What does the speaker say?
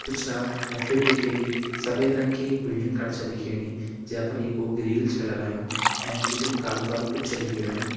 मैं फिर दिखेगी सफेद रंग की एक बिल्डिंग कर छा दिखेणी जे पर येकु ग्रिल छ लगायूं एंच बिटिन कालू कालू कुछ छ दिखेणु।